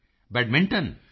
Modi ji badminton